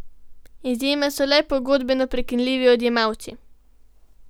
Izjema so le pogodbeno prekinljivi odjemalci.